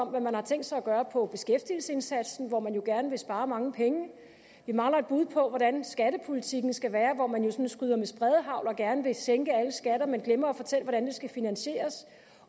hvad man har tænkt sig gøre på som beskæftigelsesindsatsen hvor man jo gerne vil spare mange penge vi mangler et bud på hvordan skattepolitikken skal være hvor man jo sådan skyder med spredehagl og gerne vil sænke alle skatter men glemmer at fortælle hvordan det skal finansieres